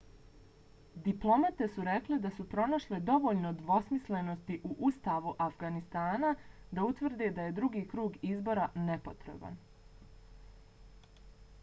diplomate su rekle da su pronašle dovoljno dvosmislenosti u ustavu afganistana da utvrde da je drugi krug izbora nepotreban